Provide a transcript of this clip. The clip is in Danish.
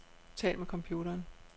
Tal med computeren.